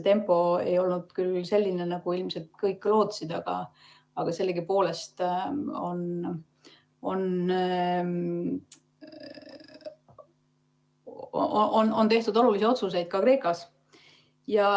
Tempo ei ole olnud küll selline, nagu ilmselt kõik lootsid, aga sellegipoolest on tehtud olulisi otsuseid ka Kreekas.